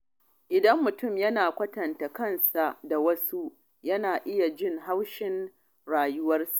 Idan mutum yana yawan kwatanta kansa da wasu, yana iya jin haushin rayuwarsa.